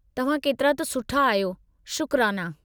तव्हां केतिरा त सुठा आहियो! शुकराना!